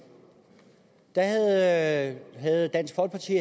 havde havde dansk folkeparti